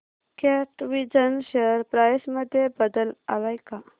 कॅटविजन share price मध्ये बदल आलाय का